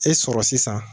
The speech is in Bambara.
E sɔrɔ sisan